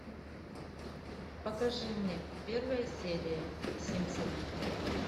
покажи мне первая серия симпсоны